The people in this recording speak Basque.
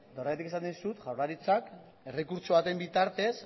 eta horregatik esaten dizut jaurlaritzak errekurtso baten bitartez